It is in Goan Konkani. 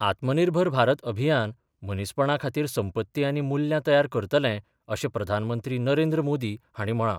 आत्मनिर्भर भारत अभियान मनीसपणा खातीर संपत्ती आनी मुल्यां तयार करतले अशें प्रधानमंत्री नरेंद्र मोदी हांणी म्हळां.